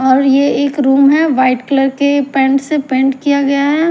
और ये एक रूम है वाइट कलर के पेंट से पेंट किया गया है।